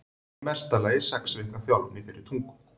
Hann hafði í mesta lagi sex vikna þjálfun í þeirri tungu.